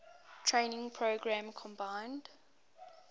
training program combined